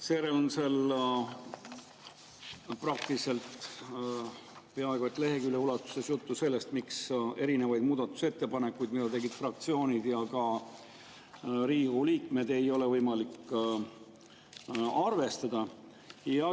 Seejärel on seal peaaegu et lehekülje ulatuses juttu sellest, miks erinevaid muudatusettepanekuid, mida tegid fraktsioonid ja ka Riigikogu liikmed, ei ole võimalik arvestada.